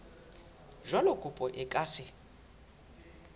jwalo kopo e ka se